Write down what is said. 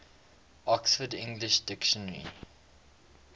oxford english dictionary